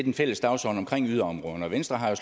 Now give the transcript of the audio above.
en fælles dagsorden omkring yderområderne venstre har jo